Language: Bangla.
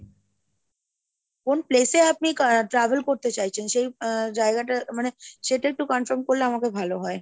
কোন place এ আপনি travel করতে চাইছেন আহ সেই জায়গাটা মানে সেটা একটু confirm করলে আমাকে ভালো হয়।